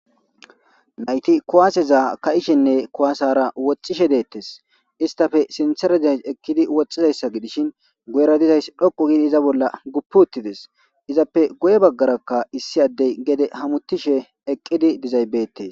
Nayti kuwaaseza ka7ishenne kuwaasara woxishe deettes istafe sintereday ekkidi woxizayssa gidishin goyera dizays dhoqu gidi iza bolla guppuuttides izappe goye baggarakka issi addey gede hamuttishe eqqidi dizaybeetee